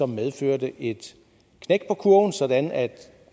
medførte et knæk på kurven sådan at